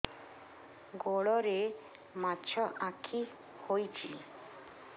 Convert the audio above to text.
ଗୋଡ଼ରେ ମାଛଆଖି ହୋଇଛି